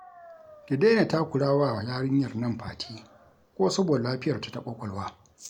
Ki daina takura wa yarinyar nan Fati ko saboda lafiyarta ta ƙwaƙwalwa